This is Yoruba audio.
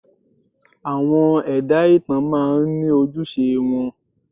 Àwọn ẹ̀dá ìtàn máa ń ní ojúṣe wọn.